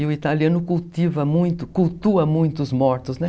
E o italiano cultiva muito, cultua muito os mortos, né?